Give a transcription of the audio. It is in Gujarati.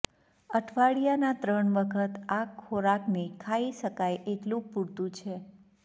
અઠવાડિયાના ત્રણ વખત આ ખોરાકને ખાઈ શકાય એટલું પૂરતું છે